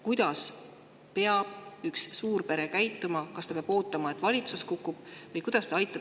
Kuidas peab üks suurpere käituma, kas ta peab ootama, et valitsus kukub?